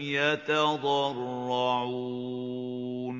يَتَضَرَّعُونَ